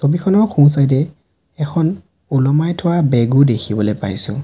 ছবিখনৰ সোঁ চাইড এ এখন ওলোমাই থোৱা বেগ ও দেখিবলৈ পাইছোঁ।